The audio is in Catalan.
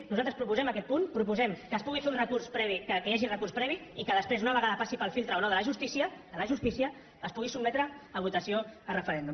nosaltres proposem aquest punt proposem que es pugui fer un recurs previ que hi hagi recurs previ i que després una vegada passi pel filtre o no de la justícia a la justícia es pugui sotmetre a votació a referèndum